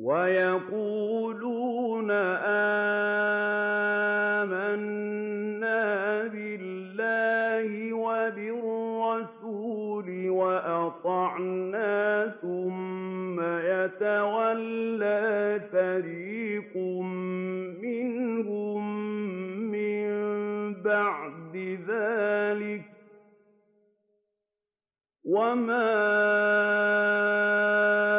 وَيَقُولُونَ آمَنَّا بِاللَّهِ وَبِالرَّسُولِ وَأَطَعْنَا ثُمَّ يَتَوَلَّىٰ فَرِيقٌ مِّنْهُم مِّن بَعْدِ ذَٰلِكَ ۚ وَمَا